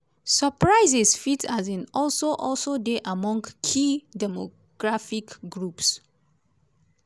surprises fit um also also dey among key demographic groups.